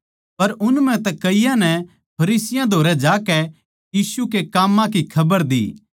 पर उन म्ह तै कईयाँ नै फरिसियाँ धोरै जाकै यीशु के काम्मां की खबर दी